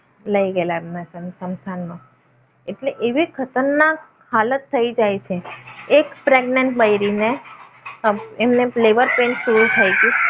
લઈ ગયેલા એમને સ્મશાનમાં. એટલે એવી ખતરનાક હાલત થઈ જાય છે એક પ્રેગનેટ બૈરીને એમને labor pain શરૂ થઈ ગયેલું.